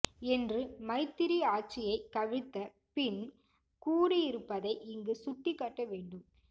என்று மைத்திரி ஆட்சியைக் கவிழ்த்த பின் கூறியிருப்பதை இங்கு சுட்டிக் காட்ட வேண்டும்